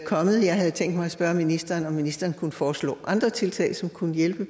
kommet jeg havde tænkt mig at spørge ministeren om ministeren kunne foreslå andre tiltag som kunne hjælpe i